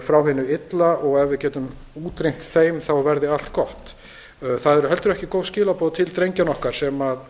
frá hinu illa og ef við getum útrýmt þeim verði allt gott það eru heldur ekki góð skilaboð til drengjanna okkar sem